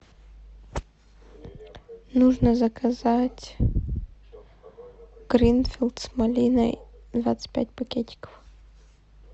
нужно заказать гринфилд с малиной двадцать пять пакетиков